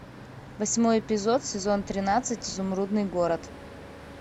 восьмой эпизод сезон тринадцать изумрудный город